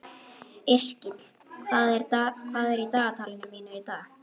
Yrkill, hvað er í dagatalinu mínu í dag?